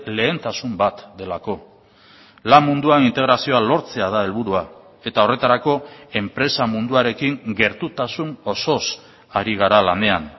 lehentasun bat delako lan munduan integrazioa lortzea da helburua eta horretarako enpresa munduarekin gertutasun osoz ari gara lanean